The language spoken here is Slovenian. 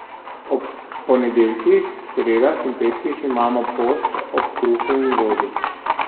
Ob ponedeljkih, sredah in petkih imamo post ob kruhu in vodi.